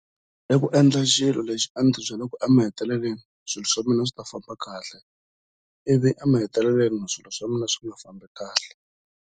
Ndzi tlhele ndzi va na ku titshemba, a vula.